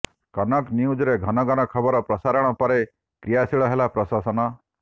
କନକ ନ୍ୟୁଜରେ ଘନଘନ ଖବର ପ୍ରସାରଣ ପରେ କ୍ରିୟାଶିଳ ହେଲା ପ୍ରଶାସନ